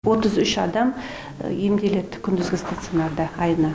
отыз үш адам емделеді күндізгі стационарда айына